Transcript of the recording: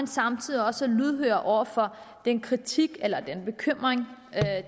samtidig også er lydhør over for den kritik eller den bekymring